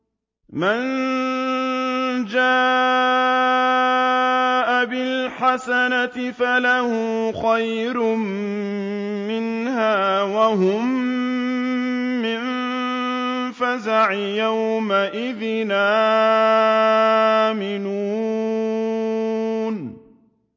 مَن جَاءَ بِالْحَسَنَةِ فَلَهُ خَيْرٌ مِّنْهَا وَهُم مِّن فَزَعٍ يَوْمَئِذٍ آمِنُونَ